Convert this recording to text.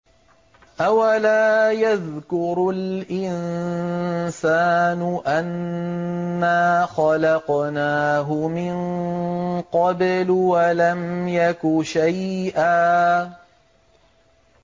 أَوَلَا يَذْكُرُ الْإِنسَانُ أَنَّا خَلَقْنَاهُ مِن قَبْلُ وَلَمْ يَكُ شَيْئًا